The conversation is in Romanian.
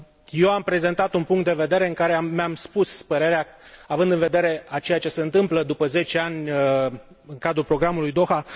Eu am prezentat un punct de vedere în care mi am spus părerea, având în vedere ceea ce se întâmplă după zece ani în cadrul programului Doha.